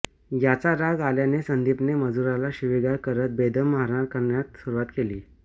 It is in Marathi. याचा राग आल्याने संदीपने मजुराला शिवीगाळ करत बेदम मारहाण करण्यास सुरुवात केली